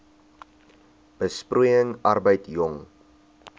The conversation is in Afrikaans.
besproeiing arbeid jong